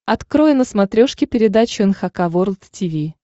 открой на смотрешке передачу эн эйч кей волд ти ви